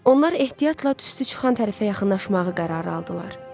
Onlar ehtiyatla tüstü çıxan tərəfə yaxınlaşmağı qərara aldılar.